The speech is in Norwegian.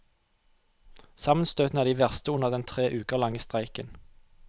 Sammenstøtene er de verste under den tre uker lange streiken.